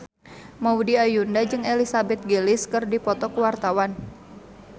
Maudy Ayunda jeung Elizabeth Gillies keur dipoto ku wartawan